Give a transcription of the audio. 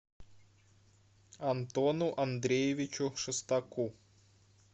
антону андреевичу шестаку